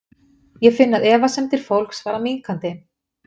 Ég finn að efasemdir fólks fara minnkandi.